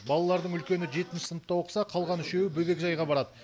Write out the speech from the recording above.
балалардың үлкені жетінші сыныпта оқыса қалған үшеуі бөбекжайға барады